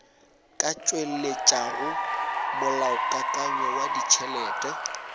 ka tšweletšago molaokakanywa wa ditšhelete